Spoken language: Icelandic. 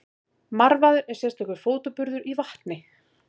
Marvaði er sérstakur fótaburður í vatni.